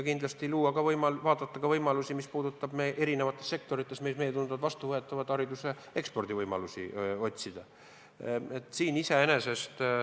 Kindlasti tuleb vaadata meile vastuvõetavaid võimalusi erinevates sektorites, otsida hariduse ekspordivõimalusi.